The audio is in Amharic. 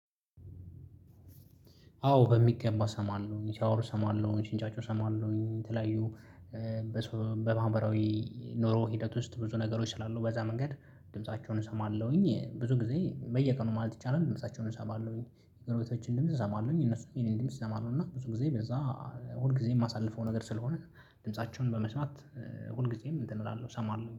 አዎ በሚገባ እሰማለሁኝ ስያወሩ እሰማለሁኝ ስንጫጩ እሰማለሁኝ የተለያዩ በማህበራዊ ኖሮ ሂደት ውስጥ ብዙ ነገሮች ስላሉ በዛ መንገድ ድምፃቸውን እሰማለሁኝ ብዙ ጊዜ በየቀኑ ማለት ይቻላል ድምፃቸዉን እሰማለውኝ። የጎረቤቶቼን ድምጽ እሰማለሁኝ እነሱም የኔን ድምጽ ይሰማሉ እና ብዙ ጊዜ በዛ ሁል ጊዜ የማሳልፈው ነገር ስለሆነ ድምፃቸውን በመስማት ሁልጊዜም እንትን እላለሁ እሰማለሁ